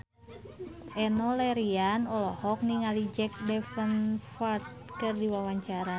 Enno Lerian olohok ningali Jack Davenport keur diwawancara